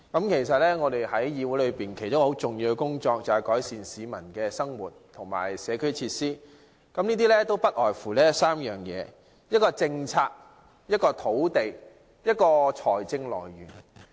其實，議會其中一項很重要的工作是改善市民的生活和社區設施，這項工作涉及3方面，包括政策、土地及財政來源。